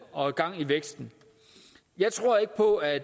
og gang i væksten jeg tror ikke på at